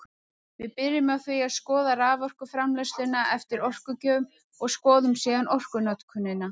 Við byrjum á því að skoða raforkuframleiðsluna eftir orkugjöfum og skoðum síðan orkunotkunina.